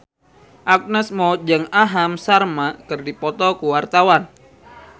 Agnes Mo jeung Aham Sharma keur dipoto ku wartawan